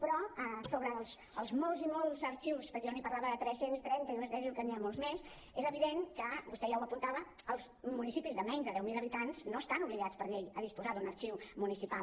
però sobre els molts i molts arxius perquè jo n’hi parlava de tres cents i trenta i vostè diu que n’hi ha molts més és evident que vostè ja ho apuntava els municipis de menys de deu mil habitants no estan obligats per llei a disposar d’un arxiu municipal